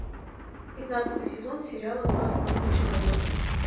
пятнадцатый сезон сериала два с половиной человека